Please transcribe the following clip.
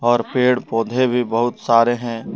और पेड़ पौधे भी बहुत सारे हैं।